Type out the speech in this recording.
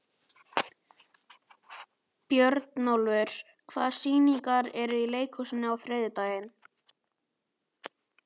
Björnólfur, hvaða sýningar eru í leikhúsinu á þriðjudaginn?